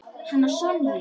Hana Sonju?